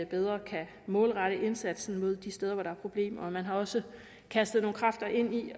bedre kan målrette indsatsen mod de steder hvor der er problemer og man har også kastet nogle kræfter ind i